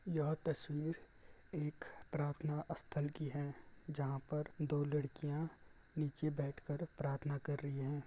यह तस्वीर एक प्रार्थना स्थल की हैं जहाँ पर दो लडकियाँ नीचे बैठ कर प्रार्थना कर रही हैं।